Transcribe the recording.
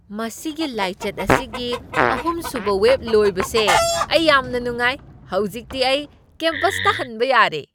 ꯃꯁꯤꯒꯤ ꯂꯥꯏꯆꯠ ꯑꯁꯤꯒꯤ ꯑꯍꯨꯝꯁꯨꯕ ꯋꯦꯕ ꯂꯣꯏꯕꯁꯦ ꯑꯩ ꯌꯥꯝꯅ ꯅꯨꯡꯉꯥꯏ꯫ ꯍꯧꯖꯤꯛꯇꯤ ꯑꯩ ꯀꯦꯝꯄꯁꯇ ꯍꯟꯕ ꯌꯥꯔꯦ꯫